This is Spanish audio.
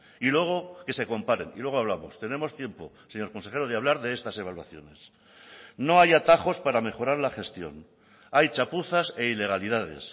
y luego que se comparen y luego hablamos tenemos tiempo señor consejero de hablar de estas evaluaciones no hay atajos para mejorar la gestión hay chapuzas e ilegalidades